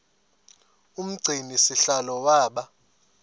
umgcini sihlalo waba